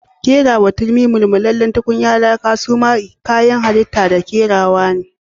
Kerawa turmi, mulmulalen tukunya laka suma kayanttrrrr halita da kerawa ne. I -